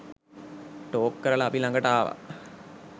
Talk කරල අපි ලඟට ආව.